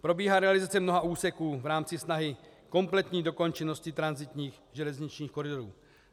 Probíhá realizace mnoha úseků v rámci snahy kompletní dokončenosti tranzitních železničních koridorů.